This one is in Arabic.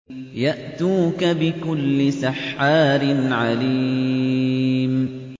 يَأْتُوكَ بِكُلِّ سَحَّارٍ عَلِيمٍ